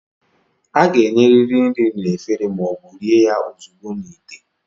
A ga-enyerịrị nri na efere ma ọ bụ rie ya ozugbo n'ite.